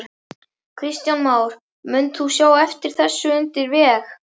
Kristján Már: Munt þú sjá eftir þessu landi undir veg?